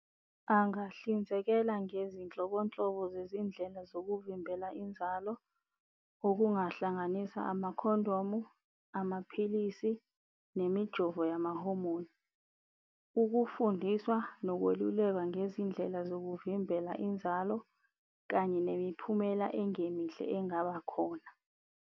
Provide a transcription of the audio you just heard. Angahlinzekela ngezinhlobonhlobo zezindlela zokuvimbela inzalo, okungahlanganisa amakhondomu, amaphilisi nemijovo yamahomoni. Ukufundiswa nokwelulekwa ngezindlela zokuvimbela inzalo kanye nemiphumela ongemihle engabakhona.